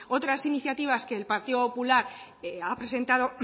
otras iniciativas que el partido popular ha presentado